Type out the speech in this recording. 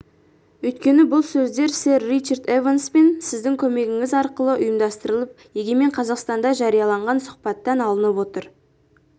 өйткені бұл сөздер сэр ричард эванспен сіздің көмегіңіз арқылы ұйымдастырылып егемен қазақстанда жарияланған сұхбаттан алынып отыр